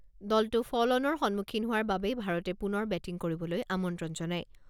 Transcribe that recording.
দলটো ফ’ল অনৰ সন্মুখীন হোৱাৰ বাবে ভাৰতে পুনৰ বেটিং কৰিবলৈ আমন্ত্ৰণ জনায়।